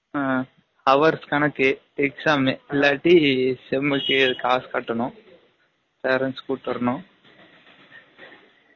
ஆ hours கனக்கு exam இல்லாட்டி sem க்கு காசு கட்டனும், parents கூட்டு வரனும்